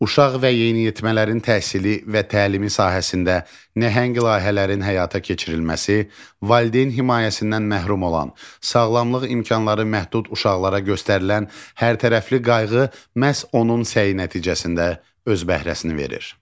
Uşaq və yeniyetmələrin təhsili və təlimi sahəsində nəhəng layihələrin həyata keçirilməsi, valideyn himayəsindən məhrum olan, sağlamlıq imkanları məhdud uşaqlara göstərilən hərtərəfli qayğı məhz onun səyi nəticəsində öz bəhrəsini verir.